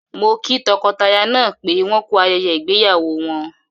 Mo kí tọkọtaya náà pé wọ́n ku ayẹyẹ ìgbéyàwó wọn.